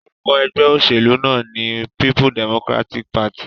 Orúkọ egbé òsèlú náà ní People Democratic Party